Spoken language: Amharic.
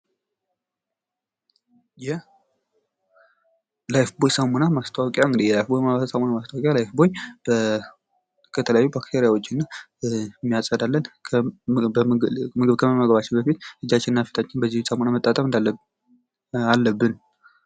የላይፍቦይ ሳሙና ማስታወቂያ ላይፍቦይ ከተለያዩ ባክተሪያዎች የሚያጸዳልን ምግብ ከመመገባችን በፊት እጃችንን እና ፊታችንን በዚህ ሳሙና መታጠብ አለብን።